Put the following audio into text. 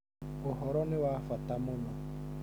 Ũhoro nĩ wa bata mũno.